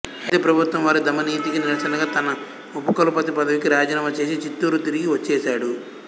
అయితే ప్రభుత్వం వారి దమననీతికి నిరసనగా తన ఉపకులపతి పదవికి రాజీనామా చేసి చిత్తూరు తిరిగి వచ్చేశాడు